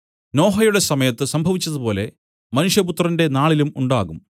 നോഹയുടെ സമയത്തു സംഭവിച്ചതുപോലെ മനുഷ്യപുത്രന്റെ നാളിലും ഉണ്ടാകും